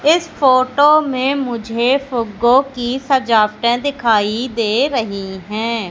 इस फोटो में मुझे फुग्गो की सजावटें दिखाई दे रही है।